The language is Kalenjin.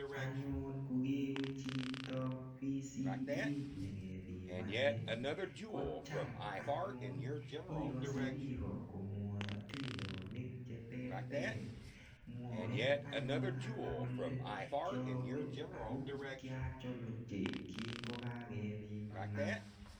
Anyun ko kewe chito VCT nyi kepimanin ko cham anyun ikase piko komwae atindonik che terter. Mwae anyun alak kole kiawee ako kiachol ochei kingo kakepimana.